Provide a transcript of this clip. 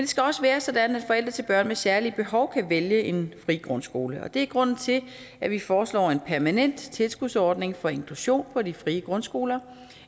skal også være sådan at forældre til børn med særlige behov kan vælge en fri grundskole og det er grunden til at vi foreslår en permanent tilskudsordning for inklusion på de frie grundskoler